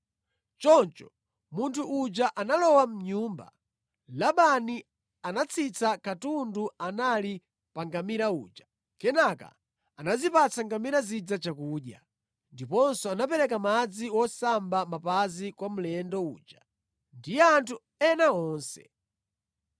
Choncho munthu uja analowa mʼnyumba. Labani anatsitsa katundu anali pa ngamira uja. Kenaka anazipatsa ngamira zija chakudya, ndiponso anapereka madzi wosamba mapazi kwa mlendo uja ndi anthu ena onse.